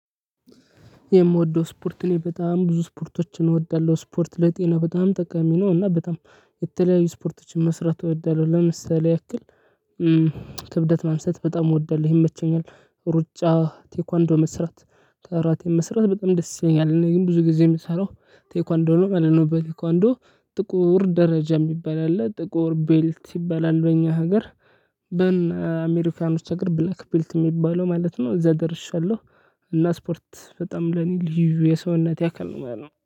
የምወደው ስፖርት እኔ በጣም ብዙ ስፖርቶችን እወዳለሁ ስፖርት ለጤና በጣም ጠቃሚ ነው እና በጣም የተለያዩ ስፖርቶችን መስራት እወዳለሁ ለምሳሌ ያክል ክብደት ማንሳት በጣም እወዳለሁ ይመቸኛል። ሩጫ ቴኳንዶ መስራት ካራቴ መስራት በጣም ደስ ይለኛል። እኔ ግን ብዙ ጊዜ ምሰራው ቴኳንዶ ነው ማለትነው። በቴኳንዶ ጥቁር ደረጃ የሚባል አለ ጥቁር ቤልት ይባላል በእኛ ሀገር። በአሜሪካኖች አገር ብላክ ቢልት የሚባለው ማለት ነው እዛደርሻለሁ። እና ስፖርት በጣም ለኔ ልዩ የሰውነቴ አካል ነው ማለት ነው